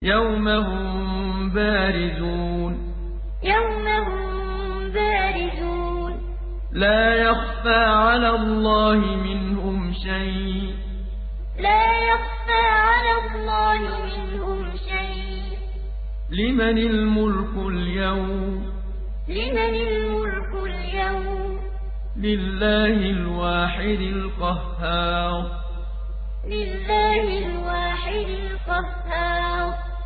يَوْمَ هُم بَارِزُونَ ۖ لَا يَخْفَىٰ عَلَى اللَّهِ مِنْهُمْ شَيْءٌ ۚ لِّمَنِ الْمُلْكُ الْيَوْمَ ۖ لِلَّهِ الْوَاحِدِ الْقَهَّارِ يَوْمَ هُم بَارِزُونَ ۖ لَا يَخْفَىٰ عَلَى اللَّهِ مِنْهُمْ شَيْءٌ ۚ لِّمَنِ الْمُلْكُ الْيَوْمَ ۖ لِلَّهِ الْوَاحِدِ الْقَهَّارِ